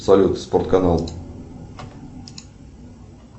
салют спорт канал